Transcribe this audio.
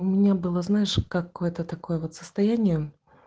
у меня была знаешь как это такое вот состояние